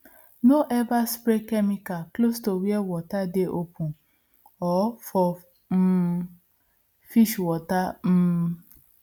no ever spray chemical close to where water dey open or for um fish water um